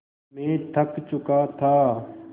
मैं थक चुका था